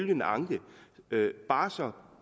den anke altså